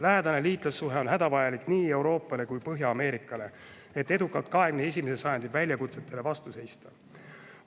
Lähedane liitlassuhe on hädavajalik nii Euroopale kui ka Põhja-Ameerikale, et 21. sajandi väljakutsetele edukalt vastu seista.